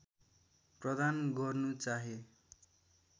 प्रदान गर्नु चाहे